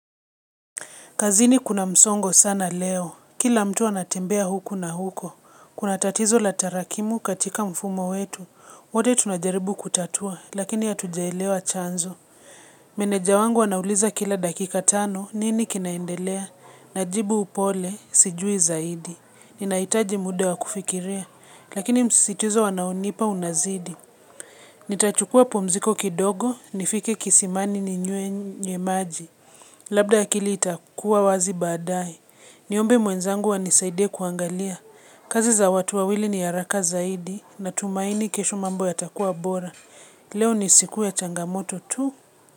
Kazini kuna msongo sana leo, kila mtu anatembea huku na huko, kuna tatizo la tarakimu katika mfumo wetu, wote tunajaribu kutatua, lakini hatujaelewa chanzo. Meneja wangu anauliza kila dakika tano, nini kinaendelea? Najibu upole, sijui zaidi, ninaitaji muda wakufikiria, lakini msisituzo anaonipa unazidi. Nita chukua pumziko kidogo, nifike kisimani ni nywe maji. Labda akili itakua wazi badae. Niombe mwenzangu ani saidie kuangalia. Kazi za watu wawili ni haraka zaidi na tumaini kesho mambo yatakua bora. Leo ni siku ya changamoto tu.